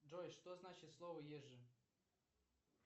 джой что значит слово ежжи